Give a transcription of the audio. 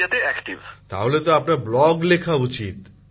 প্রধানমন্ত্রী জীঃ তাহলেতো আপনার ব্লগ লেখা উচিৎ